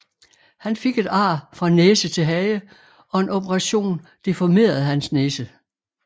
Han fik et ar fra næse til hage og en operationen deformerede hans næse